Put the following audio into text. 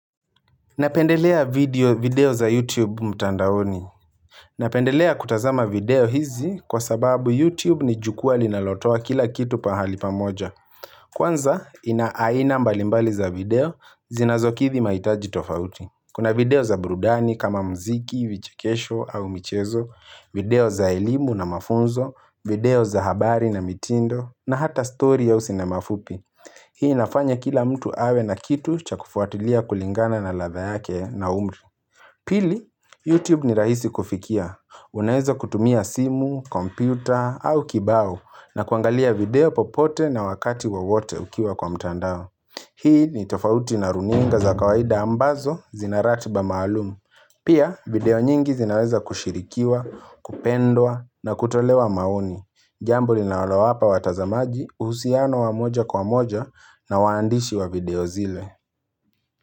Napendelea video za YouTube mtandaoni. Napendelea kutazama video hizi kwa sababu YouTube ni jukwaa linalotoa kila kitu pahali pamoja. Kwanza ina aina mbalimbali za video zinazokidhi mahitaji tofauti. Kuna video za burudani kama muziki, vichekesho au michezo, video za elimu na mafunzo, video za habari na mitindo na hata story ya uzi na mafupi. Hii inafanya kila mtu awe na kitu cha kufuatilia kulingana na ladha yake na umri Pili, YouTube ni rahisi kufikia. Unaweza kutumia simu, kompyuta au kibao na kuangalia video popote na wakati wowote ukiwa kwa mtandao Hii ni tofauti na runinga za kawaida ambazo zina ratiba maalumu Pia video nyingi zinaweza kushirikiwa, kupendwa na kutolewa maoni Jamb linalowapa watazamaji uhusiano wa moja kwa moja na waandishi wa video zile.